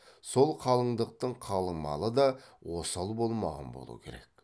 сол қалыңдықтың қалың малы да осал болмаған болу керек